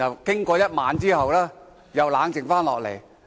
經過一個晚上之後，我又冷靜下來。